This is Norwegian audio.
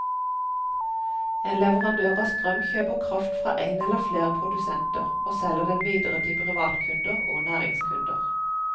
En leverandør av strøm kjøper kraft fra én eller flere produsenter, og selger den videre til privatkunder og næringskunder.